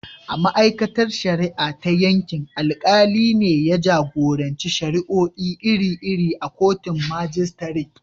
A ma’aikatar shari’a ta yankin, alkali ne ya jagoranci shari’o’i iri-iri a kotun majistare.